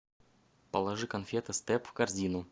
положи конфеты степ в корзину